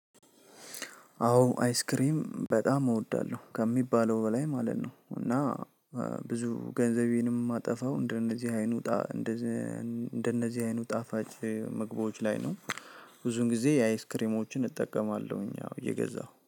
አዎ አይስክሬም በጣም እወዳለሁ ከሚባለው በላይ ማለት ነው። እና ብዙ ገንዘቤንም ማጠፋው እንደነዚህ አይኑውጣ። እንደነዚህ አይኑ ጣፋጭ ምግቦች ላይ ነው። ብዙን ጊዜ የአይስክሬሞችን እጠቀማለሁኝ አዎ እየገዛሁ